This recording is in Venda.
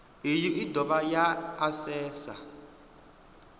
iyi i dovha ya asesa